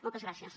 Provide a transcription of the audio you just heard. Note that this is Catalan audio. moltes gràcies